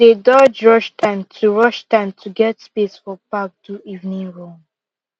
dey dodge rush time to rush time to get space for park do evening run